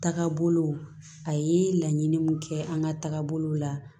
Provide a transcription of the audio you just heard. Taga bolo a ye laɲini mun kɛ an ka taagabolo la